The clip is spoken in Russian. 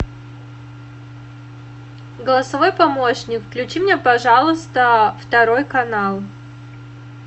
голосовой помощник включи мне пожалуйста второй канал